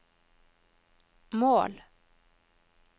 mål